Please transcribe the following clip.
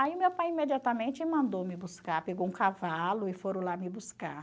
Aí meu pai imediatamente mandou me buscar, pegou um cavalo e foram lá me buscar.